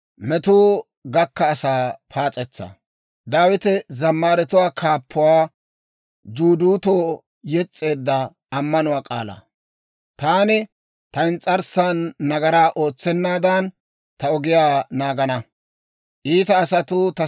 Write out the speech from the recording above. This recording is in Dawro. Taani, «Ta ins's'arssan nagaraa ootsennaadan, ta ogiyaa naagana. Iita asatuu ta sintsan de'iyaa wode, ta doonaa barana» yaagaad.